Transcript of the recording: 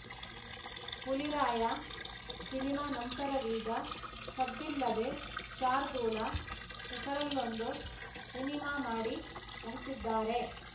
Huliraya cinema ನಂತರವೀಗ ಸದ್ದಿಲ್ಲದೆ ಶಾರ್ದೂಲ ಹೆಸರಲ್ಲೊಂದು ಸಿನಿಮಾ ಮಾಡಿ ಮುಗಿಸಿದ್ದಾರೆ